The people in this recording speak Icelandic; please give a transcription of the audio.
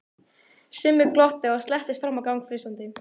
Simmi glotti og slettist fram á gang flissandi.